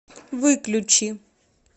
выключи